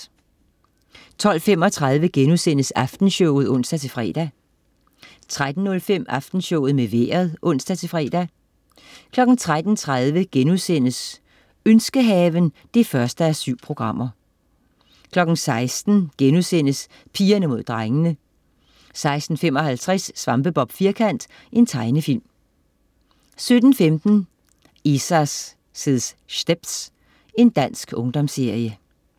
12.35 Aftenshowet* (ons-fre) 13.05 Aftenshowet med Vejret (ons-fre) 13.30 Ønskehaven 1:7* 16.00 Pigerne mod drengene* 16.55 Svampebob Firkant. Tegnefilm 17.15 Isa's Stepz. Dansk ungdomsserie